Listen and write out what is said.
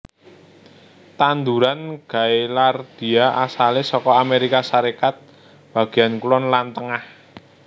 Tanduran gaillardia asalé saka Amérika Sarékat bagéyan kulon lan tengah